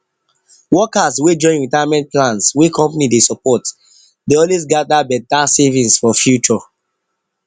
workers wey join retirement plans wey company dey support dey always gather better savings for future